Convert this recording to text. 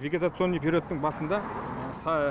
вегетационный периодтың басында сай